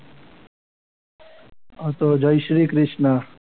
હા તો જય શ્રી કૃષ્ણ.